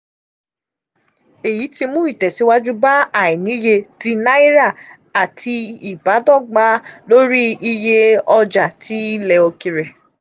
èyí tí mú ìtẹ̀síwájú bá àìníye ti náírà àti ìbádọ́gba lórí iye ọjà ti ilẹ̀ òkèèrè.